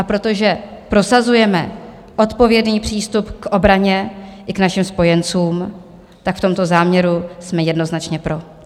A protože prosazujeme odpovědný přístup k obraně i k našim spojencům, tak v tomto záměru jsme jednoznačně pro.